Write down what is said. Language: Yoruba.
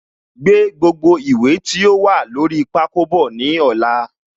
Gbé gbogbo ìwé tí ó wà lórí pákó bọ̀ ní ọ̀la